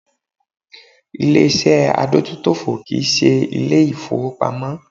Ilé ìṣẹ́ adójútòfò kì í ṣe Ilé ìfowópamọ́